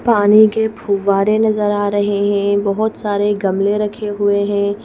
पानी के फुवारे नजर आ रहे हैं बहुत सारे गमले रखे हुए हैं।